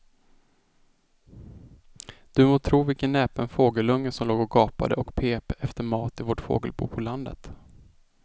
Du må tro vilken näpen fågelunge som låg och gapade och pep efter mat i vårt fågelbo på landet.